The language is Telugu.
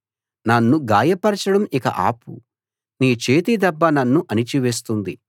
నన్ను గాయపరచడం ఇక ఆపు నీ చేతి దెబ్బ నన్ను అణచివేస్తుంది